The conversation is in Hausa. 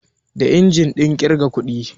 Da injin ɗin ƙirga kuɗi